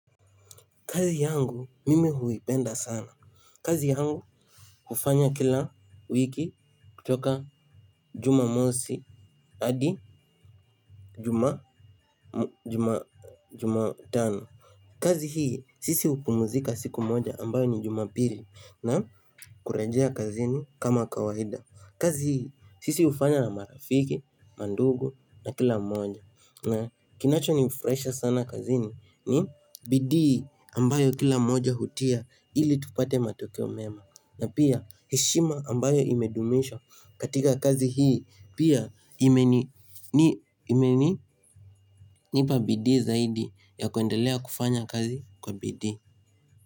Kazi yangu mimi huipenda sana. Kazi yangu ufanya kila wiki kutoka jumamosi adi jumatano. Kazi hii, sisi hupumuzika siku moja ambayo ni jumapili na kurejea kazini kama kawaida. Kazi hii sisi hufanya na marafiki, mandugu na kila mmoja. Na kinacho nifurahisha sana kazini ni bidii ambayo kila mmoja hutia ili tupate matokeo mema na pia heshima ambayo imedumisha katika kazi hii pia imeni imeninipa bidii zaidi ya kuendelea kufanya kazi kwa bidii.